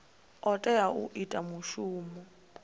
o tea u ita mushumo